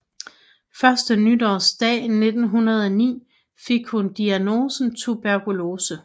Første nytårsdag 1909 fik hun diagnosen tuberkulose